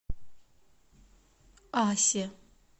асе